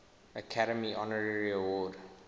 academy honorary award